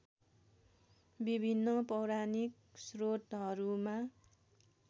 विभिन्न पौराणिक श्रोतहरूमा